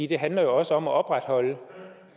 det handler også om at opretholde